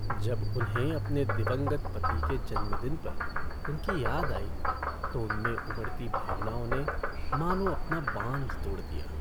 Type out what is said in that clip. जब उन्हें अपने दिवंगत पति के जन्मदिन पर उनकी याद आई तो उनमें उमड़ती भावनाओं ने मानो अपना बांध तोड़ दिया।